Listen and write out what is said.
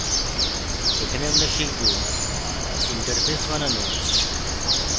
এখানে আমরা শিখব: interface বানানো